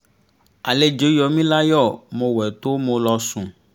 àlejò yọ mí láyọ mo wẹ tó mo lọ sùn